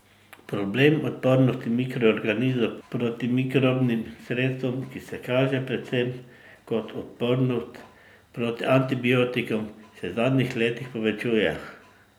Problem odpornosti mikroorganizmov proti protimikrobnim sredstvom, ki se kaže predvsem kot odpornost proti antibiotikom, se v zadnjih letih povečuje.